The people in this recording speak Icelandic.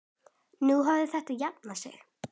Nú hefur þetta jafnað sig.